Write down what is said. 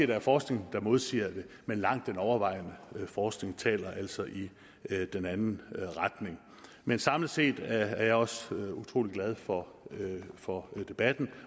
der er forskning der modsiger det men langt den overvejende forskning taler altså i den anden retning men samlet set er jeg også utrolig glad for for debatten